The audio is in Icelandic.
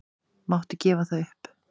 Máttu gefa það upp?